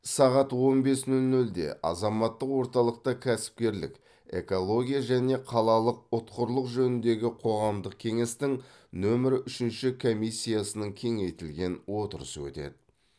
сағат он бес нөл нөлде азаматтық орталықта кәсіпкерлік экология және қалалық ұтқырлық жөніндегі қоғамдық кеңестің нөмір үшінші комиссиясының кеңейтілген отырысы өтеді